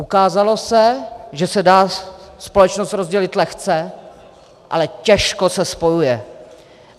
Ukázalo se, že se dá společnost rozdělit lehce, ale těžko se spojuje.